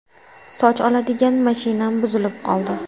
Soch oladigan mashinam buzilib qoldi”.